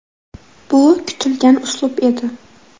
Bu kutilgan uslub edi.